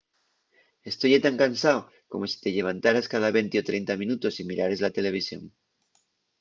esto ye tan cansao como si te llevantares cada venti o trenta minutos y mirares la televisión